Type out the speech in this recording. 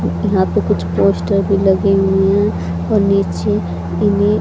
यहां पे कुछ पोस्टर भी लगे हुए हैं और नीचे --